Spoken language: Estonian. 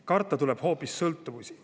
Karta tuleb hoopis sõltuvusi.